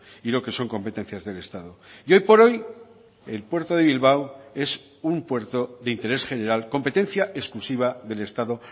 y lo que son competencias del estado y hoy por hoy el puerto de bilbao es un puerto de interés general competencia exclusiva del estado